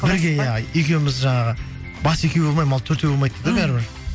бірге иә екеуіміз жаңағы бас екеу болмай мал төртеу болмайды дейді ғой бәрібір